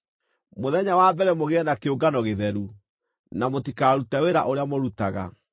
Mũthenya wa mbere mũgĩe na kĩũngano gĩtheru, na mũtikarute wĩra ũrĩa mũrutaga.